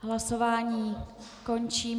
Hlasování končím.